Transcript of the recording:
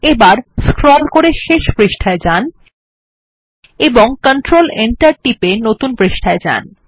এবার স্ক্রল করে শেষ পৃষ্ঠায় যাওয়া যান এবং কন্ট্রোল Enter টিপে নতুন পৃষ্ঠায় যান